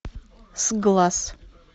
сглаз